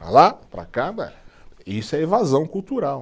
Para lá, para cá, isso é evasão cultural.